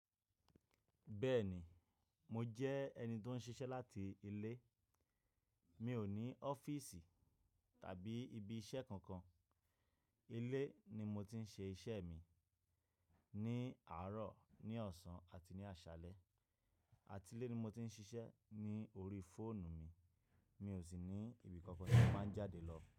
Bẹ́ẹ̀ ni, mo jẹ́ ẹni tó ń ṣiṣẹ́ láti ilé. Mi ò ní ọ́fíìsì tàbí ibi iṣẹ́ kankan. Ilé ni mo ti ń ṣe iṣẹ́ mi, ní àárọ̀, ní ọ̀sán àti ní àṣálẹ́. Àti ilé ni mo ti ń ṣiṣẹ́ ní orí fóònù mi. Mi ò sì ní ibi kankan tí màá ń jáde lọ.